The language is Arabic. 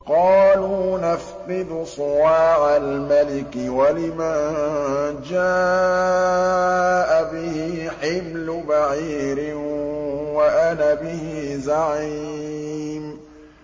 قَالُوا نَفْقِدُ صُوَاعَ الْمَلِكِ وَلِمَن جَاءَ بِهِ حِمْلُ بَعِيرٍ وَأَنَا بِهِ زَعِيمٌ